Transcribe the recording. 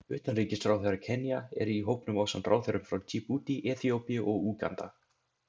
Utanríkisráðherra Kenía er í hópnum ásamt ráðherrum frá Djíbútí, Eþíópíu og Úganda.